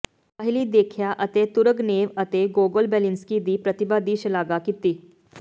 ਪਹਿਲੀ ਦੇਖਿਆ ਅਤੇ ਤੁਰਗਨੇਵ ਅਤੇ ਗੋਗੋਲ ਬੇਲਿੰਸਕੀ ਦੀ ਪ੍ਰਤਿਭਾ ਦੀ ਸ਼ਲਾਘਾ ਕੀਤੀ